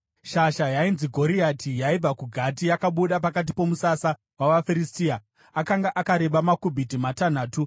Shasha yainzi Goriati yaibva kuGati, yakabuda pakati pomusasa wavaFiristia. Akanga akareba makubhiti matanhatu .